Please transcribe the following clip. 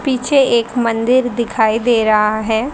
पीछे एक मंदिर दिखाई दे रहा है।